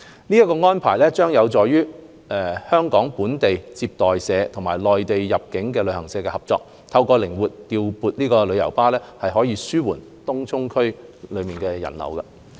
這項安排將有助香港本地接待社與內地入境旅行社合作，透過靈活調撥旅遊巴，紓緩東涌區內的人流。